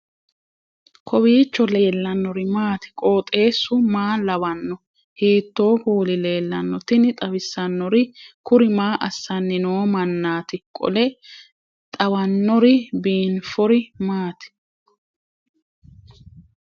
kowiicho leellannori maati ? qooxeessu maa lawaanno ? hiitoo kuuli leellanno ? tini xawissannori kuri maa assanni noo mannati qole xawannori biinfori maati